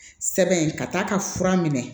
Sɛbɛn ka t'a ka fura minɛ